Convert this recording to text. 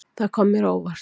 Það kom mér á óvart.